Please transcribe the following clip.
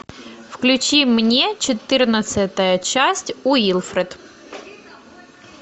включи мне четырнадцатая часть уилфред